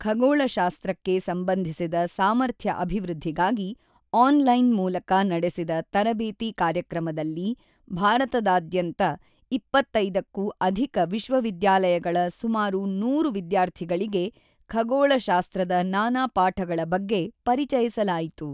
ಖಗೋಳಶಾಸ್ತ್ರಕ್ಕೆ ಸಂಬಂಧಿಸಿದ ಸಾಮರ್ಥ್ಯ ಅಭಿವೃದ್ಧಿಗಾಗಿ ಆನ್ ಲೈನ್ ಮೂಲಕ ನಡೆಸಿದ ತರಬೇತಿ ಕಾರ್ಯಕ್ರಮದಲ್ಲಿ ಭಾರತದಾದ್ಯಂತ 25ಕ್ಕೂ ಅಧಿಕ ವಿಶ್ವವಿದ್ಯಾಲಯಗಳ ಸುಮಾರು 100 ವಿದ್ಯಾರ್ಥಿಗಳಿಗೆ ಖಗೋಳಶಾಸ್ತ್ರದ ನಾನಾ ಪಾಠಗಳ ಬಗ್ಗೆ ಪರಿಚಯಿಸಲಾಯಿತು.